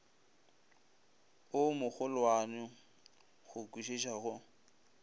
o mogolwane go kwišiša go